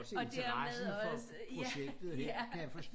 Og dermed også ja ja